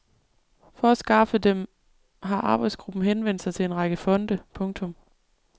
For at skaffe dem har arbejdsgruppen henvendt sig til en række fonde. punktum